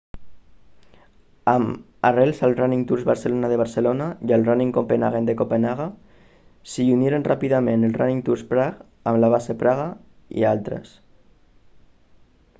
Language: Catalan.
amb arrels al running tours barcelona de barcelona i al running copenhagen de copenhagen s'hi uniren ràpidament el running tours prague amb base a praga i d'altres